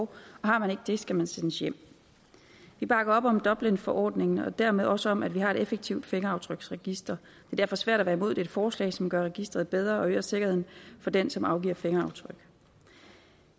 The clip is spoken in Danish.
og har man ikke det skal man sendes hjem vi bakker op om dublinforordningen og dermed også om at vi har et effektivt fingeraftryksregister er derfor svært at være imod dette forslag som gør registeret bedre og øger sikkerheden for dem som afgiver fingeraftryk